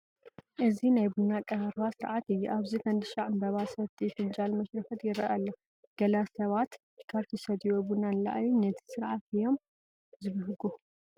እዚ ናይ ቡና ኣቀራርባ ስርዓት እዩ፡፡ ኣብዚ ፈንድሻ ዕምበባ፣ ሰቲ፣ ፍንጃል፣ መሽረፈት ይርአ ኣሎ፡፡ ገለ ሰባት ካብቲ ዝሰትይዎ ቡና ንላዕሊ ንቲ ስርዓት እዮም ዝብህጉ፡፡